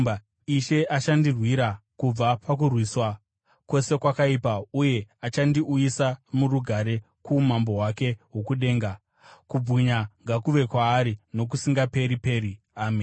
Ishe achandirwira kubva pakurwiswa kwose kwakaipa uye achandiuyisa murugare kuumambo hwake hwokudenga. Kubwinya ngakuve kwaari nokusingaperi-peri. Ameni.